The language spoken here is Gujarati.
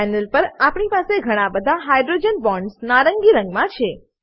પેનલ પર આપણી પાસે બધા હાઇડ્રોજન બોન્ડ્સ નારંગી રંગ મા છે